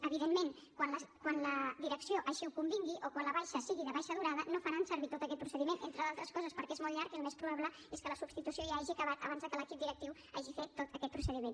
evidentment quan la direcció així ho convingui o quan la baixa sigui de baixa durada no faran servir tot aquest procediment entre d’altres coses perquè és molt llarg i el més probable és que la substitució ja hagi acabat abans que l’equip directiu hagi fet tot aquest procediment